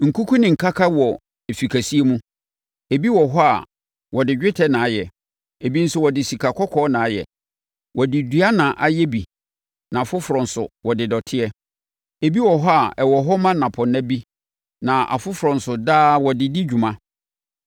Nkuku ne nkaka wɔ efi kɛseɛ mu. Ebi wɔ hɔ a wɔde dwetɛ na ayɛ, ebi nso wɔde sika kɔkɔɔ na ayɛ. Wɔde dua na ayɛ bi na afoforɔ nso wɔde dɔteɛ. Ebi wɔ hɔ a ɛwɔ hɔ ma nnapɔnna bi na afoforɔ nso daa wɔde di dwuma.